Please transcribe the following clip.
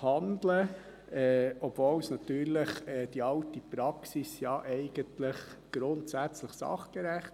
handeln wollen, obwohl natürlich die alte Praxis grundsätzlich sachgerecht war.